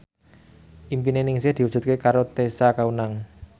impine Ningsih diwujudke karo Tessa Kaunang